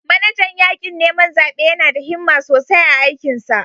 Manajan yakin neman zabe yana da himma sosai a aikinsa.